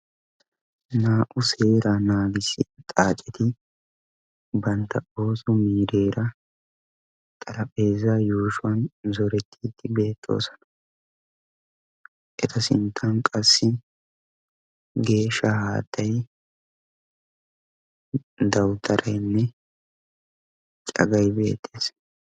Naa"u seeraa naagissiya aaceti bantta ooso miireera xarphpheezaa yuushuwan orettiiddi beettoosona. Eta sinttan qassi geeshsha haattay, dawutaraynne cagay beettees.